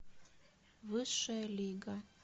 высшая лига